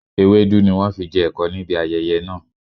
Ewédú ni wọn fi jẹ ẹ̀kọ níbi ayẹyẹ náà